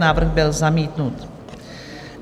Návrh byl zamítnut.